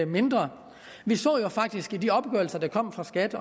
mindre vi så jo faktisk i de opgørelser der kom fra skat